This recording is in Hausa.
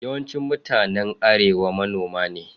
Yawancin mutanen Arewa manoma ne.